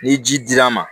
Ni ji dir'a ma